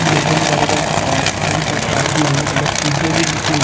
mutton burger और कई प्रकार की अलग अलग चीज़े भी लिखी हुई --